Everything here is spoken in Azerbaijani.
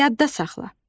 Yadda saxla.